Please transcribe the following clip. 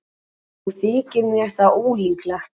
Þó þykir mér það ólíklegt.